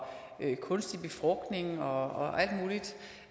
kunstig befrugtning og